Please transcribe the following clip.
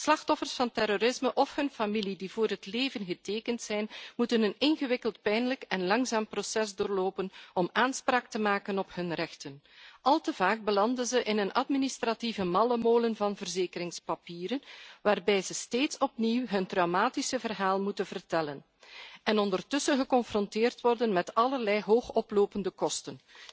Slachtoffers van terrorisme of hun familieleden die voor het leven getekend zijn, moeten een ingewikkeld pijnlijk en langzaam proces doorlopen om aanspraak te maken op hun rechten. Maar al te vaak belanden ze in een administratieve mallemolen van verzekeringspapieren, waarbij ze steeds opnieuw hun traumatische verhaal moeten vertellen en ondertussen geconfronteerd worden met allerlei hoog oplopende kosten.